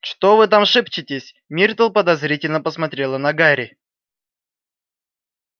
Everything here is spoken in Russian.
что вы там шепчетесь миртл подозрительно посмотрела на гарри